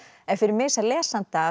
en fyrir mig sem lesanda